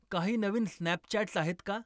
काही नवीन स्नॅपचॅट्स आहेत का